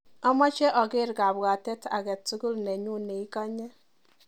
Amache aker kabwatet akatukul nenyuu neikanyii.